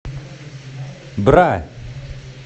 бра